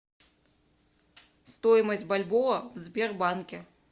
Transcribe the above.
стоимость бальбоа в сбербанке